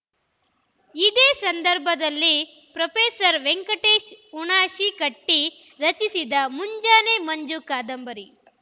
ಇದೇ ಸಂದರ್ಭದಲ್ಲಿ ಪ್ರೋ ವೆಂಕಟೇಶ ಹುಣಶಿಕಟ್ಟಿ ರಚಿಸಿದ ಮುಂಜಾನೆ ಮಂಜು ಕಾದಂಬರಿ